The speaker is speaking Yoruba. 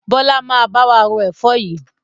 Bọlá máa bá wa ro Ẹ̀fọ́ yìí